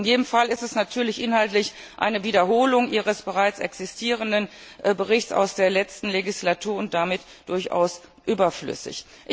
In jedem Fall ist sie natürlich inhaltlich eine Wiederholung Ihres bereits existierenden Berichts aus der letzten Legislaturperiode und damit durchaus überflüssig.